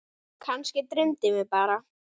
Kannski dreymdi mig bara.